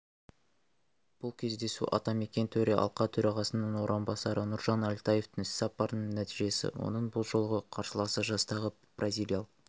бұл кездесу атамекен төралқа төрағасының орынбасары нұржан әлтаевтың іс-сапарының нәтижесі оның бұл жолғы қарсыласы жастағы бразилиялық